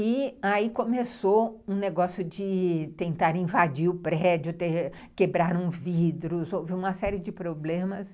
E aí começou um negócio de tentar invadir o prédio, quebraram vidros, houve uma série de problemas.